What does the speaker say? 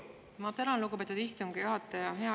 Ma tänan, lugupeetud istungi juhataja!